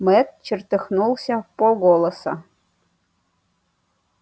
мэтт чертыхнулся вполголоса